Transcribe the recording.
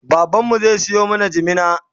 baban mu zai Sayo mana jimina